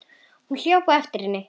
Hún hljóp á eftir henni.